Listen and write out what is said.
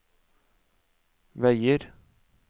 veier